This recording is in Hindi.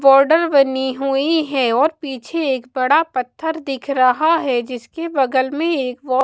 बॉर्डर बनी हुई है और पीछे एक बड़ा पत्थर दिख रहा है जिसके बगल में एक औ--